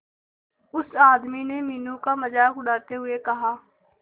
उस आदमी ने मीनू का मजाक उड़ाते हुए कहा